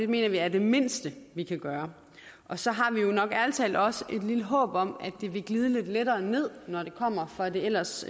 mener vi er det mindste vi kan gøre så har vi jo nok ærlig talt også et lille håb om at det vil glide lidt lettere ned når det kommer fra det ellers